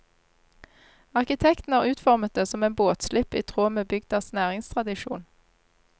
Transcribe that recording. Arkitekten har utformet det som en båtslipp i tråd med bygdas næringstradisjon.